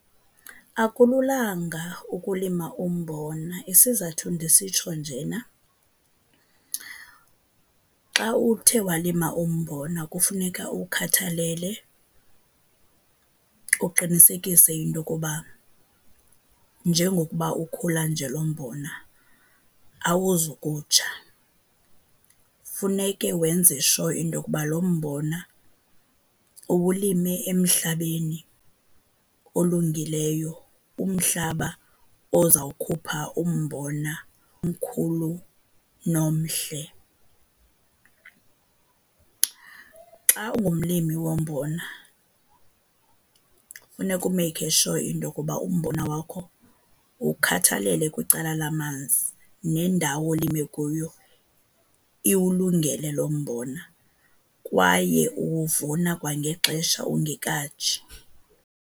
Akululanga ukulima umbona. Isizathu ndisitsho njena, xa uthe walima umbona kufuneka uwukhathalele, uqinisekise into yokuba njengokuba ukhula nje lo mbona awuzukutsha. Funeke wenze sure into yokuba lo mbona uwulime emhlabeni olungileyo, umhlaba ozawukhupha umbona omkhulu nomhle. Xa ungumlimi wombona funeka umeyikhe sure into yokuba umbona wakho uwukhathalele kwicala lamanzi, nendawo olime kuyo iwulungele lo mbona kwaye uwuvuna kwangexesha ungekatshi.